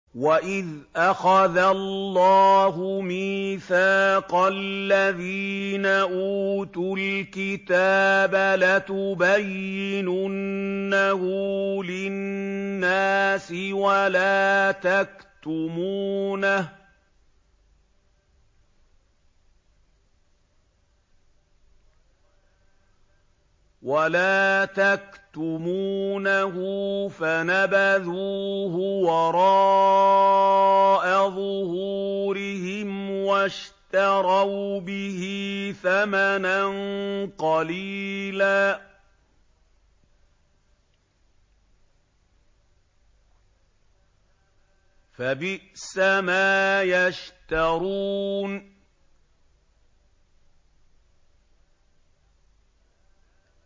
وَإِذْ أَخَذَ اللَّهُ مِيثَاقَ الَّذِينَ أُوتُوا الْكِتَابَ لَتُبَيِّنُنَّهُ لِلنَّاسِ وَلَا تَكْتُمُونَهُ فَنَبَذُوهُ وَرَاءَ ظُهُورِهِمْ وَاشْتَرَوْا بِهِ ثَمَنًا قَلِيلًا ۖ فَبِئْسَ مَا يَشْتَرُونَ